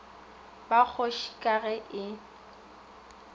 ba kgoši ka ge e